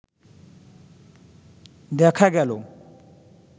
দেখা গেল